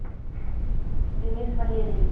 денис валерьевич